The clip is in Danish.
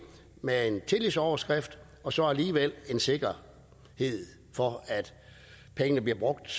med en tillidsoverskrift og så alligevel en sikkerhed for at pengene bliver brugt